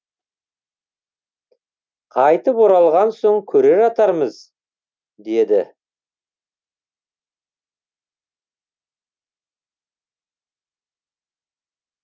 қайтып оралған соң көре жатармыз деді